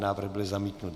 Návrh byl zamítnut.